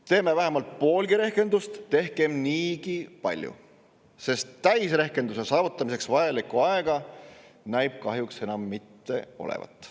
Tehkem vähemalt poolgi rehkendust, tehkem niigi palju, sest täisrehkenduse saavutamiseks vajalikku aega näib kahjuks enam mitte olevat.